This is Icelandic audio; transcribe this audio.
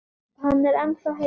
Hann er ennþá heitur.